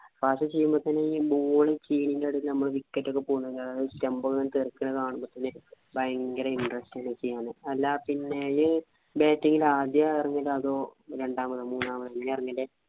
fast ചെയ്യുമ്പോത്തേനെ ഈ ball ന്റെ ഇടയിലിൽ നമ്മൾ wicket ഒക്കെ പോകുന് stumb ഒക്കെ ഇങ്ങനെ തെറിക്കണത് കാണുമ്പോത്തേനെ ഭയങ്കര interest ലേക്ക്ന്നു. അല്ല പിന്നെ ഇജ്ജ് bat ചെയ്യല് ആദ്യ അതോ രണ്ടാമതോ മൂന്നാമതോ എങ്ങനെയാ ഇറങ്ങല്.